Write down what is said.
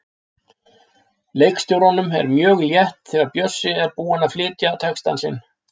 Leikstjóranum er mjög létt þegar Bjössi er búinn að flytja texta sinn.